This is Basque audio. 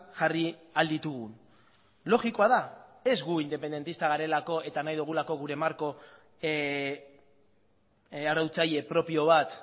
jarri ahal ditugun logikoa da ez gu independentistak garelako eta nahi dugulako gure marko arautzaile propio bat